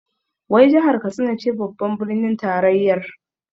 Wai jahar Katsina ce babbar birnin tarayyar?